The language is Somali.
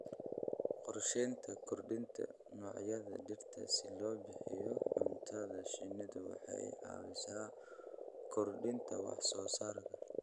Qorshaynta kordhinta noocyada dhirta si loo bixiyo cuntada shinnidu waxay caawisaa kordhinta wax soo saarka.